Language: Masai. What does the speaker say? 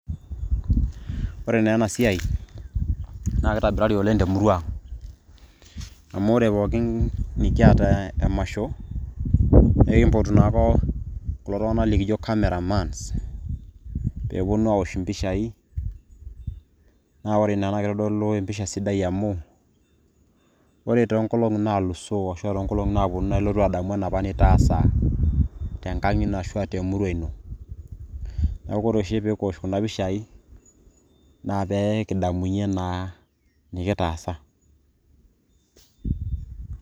ore naa ena siai naa kitobirari oleng te murrua ang , ore pookin nikiata emasho enkipotu nako kulo tunganak likijo camera mans pee eponu aosh impishai naa ore ina naa kitodolu empisha sidai amu ore toonkolong naalusoo ashu toonkolongi naapuonu naa ilotu adamu enapa nitaasa tenkang ino ashuaa te murua ino . niaku ore oshi pekiosh kuna pishai naa pekidamunyie naa nikitaasa.